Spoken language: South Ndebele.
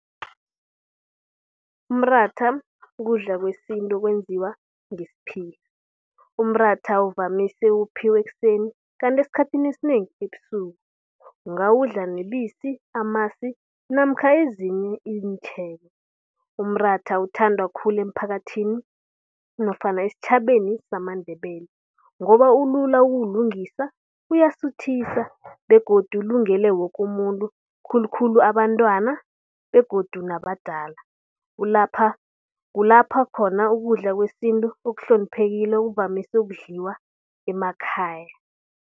Umratha kukudla kwesintu kwenziwa ngesiphila. Umratha uvamise ukuphekwa ekuseni kanti esikhathini esinengi ebusuku. Ungawudla nebisi, amasi namkha ezinye iinthelo. Umratha uthandwa khulu emphakathini nofana esitjhabeni samaNdebele ngoba ulula ukulungiswa uyasuthisa begodu ulungele woke umuntu khulukhulu abantwana begodu nabadala. Kulapha khona ukudla kwesintu okuhloniphekileko kuvamise ukudliwa emakhaya.